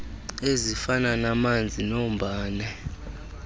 ezifana namanzi nombane